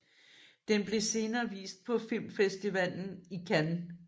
Den blev senere vist på Filmfestivalen i Cannes